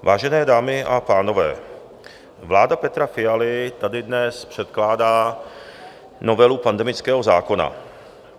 Vážené dámy a pánové, vláda Petra Fialy tady dnes předkládá novelu pandemického zákona.